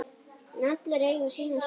En allir eiga sína sögu.